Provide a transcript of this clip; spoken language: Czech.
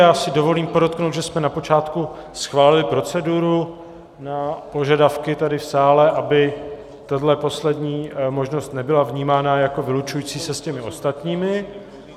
Já si dovolím podotknout, že jsme na počátku schválili proceduru na požadavky tady v sále, aby tahle poslední možnost nebyla vnímána jako vylučující se s těmi ostatními.